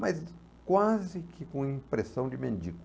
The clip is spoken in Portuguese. Mas quase que com impressão de mendigo.